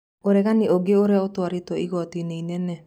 ũregani ũngĩ ũrĩa ũtwarĩtwo igoti-inĩ inene.